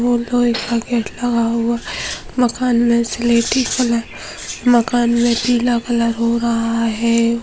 वो लोहे का गेट लगा हुआ है मकान में सिलेटी कलर मकान में पीला कलर हो रहा है।